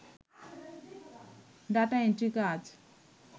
data entry কাজ